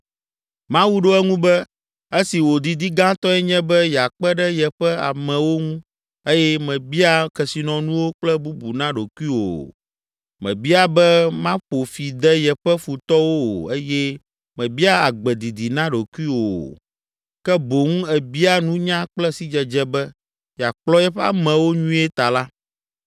Mawu ɖo eŋu be, “Esi wò didi gãtɔe nye be yeakpe ɖe yeƒe amewo ŋu eye mèbia kesinɔnuwo kple bubu na ɖokuiwò o, mèbia be maƒo fi de yeƒe futɔwo o eye mèbia agbe didi na ɖokuiwò o, ke boŋ èbia nunya kple sidzedze be, yeakplɔ yeƒe amewo nyuie ta la,